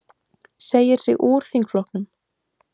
Segir sig úr þingflokknum